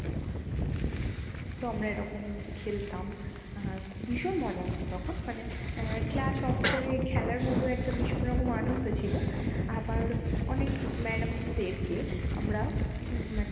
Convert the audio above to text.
তো আমরা এরকম খেলতাম আহা ভীষণ মজা হতো তখন মানে আহ class off করে খেলার মধ্যে একটা ভীষণ রকম আনন্দ ছিল। আবার অনেক madam দেরকে আমরা উম মানে